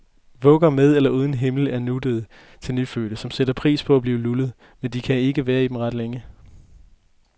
Vugger med eller uden himmel er nuttet til nyfødte, som sætter pris på at blive lullet, men de kan ikke være i dem ret længe.